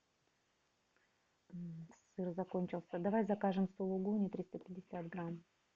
сыр закончился давай закажем сулугуни триста пятьдесят грамм